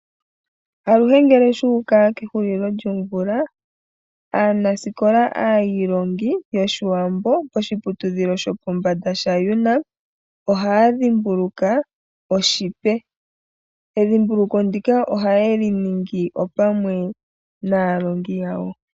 Aluhe ngele shuuka kehulilo lyomvula aanasikola aiilongi yoshiwambo poshiputudhilo shopombanda shaUNAM ohaya dhimbuluka oshipe, edhimbuluko ndika ohayeli nigni pamwe naalongi yawo.